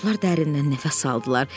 Uşaqlar dərindən nəfəs aldılar.